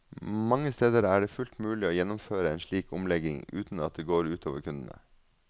Mange steder er det fullt mulig å gjennomføre en slik omlegging uten at det går ut over kundene.